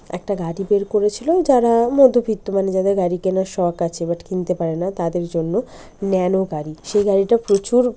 একটা গাড়ি বের করেছিল যারা মধ্যবিত্ত মানে যাদের গাড়ি কেনার শখ আছে বাট কিনতে পারেনা। তাদের জন্য ন্যানো গাড়ি সেই গাড়িটা প্রচুর।